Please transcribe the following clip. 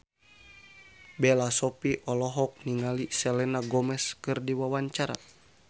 Bella Shofie olohok ningali Selena Gomez keur diwawancara